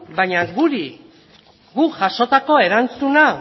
baina guk jasotako erantzuna